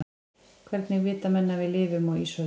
hvernig vita menn að við lifum á ísöld